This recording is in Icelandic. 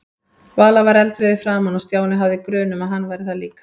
Vala var eldrauð í framan og Stjáni hafði grun um að hann væri það líka.